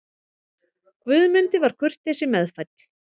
Guðmundi var kurteisi meðfædd.